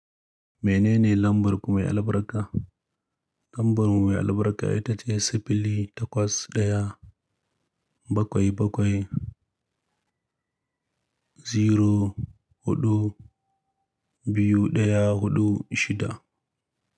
Menene lambar ku mai albarka? Lambar mu mai albarka ita ce sifili takwas daya bakwai bakwai zero hudu biyu daya hudu shida.